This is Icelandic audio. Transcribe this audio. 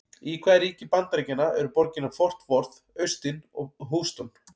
Í hvaða ríki Bandaríkjanna eru borgirnar Fort Worth, Austin og Houston?